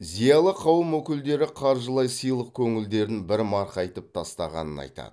зиялы қауым өкілдері қаржылай сыйлық көңілдерін бір марқайтып тастағанын айтады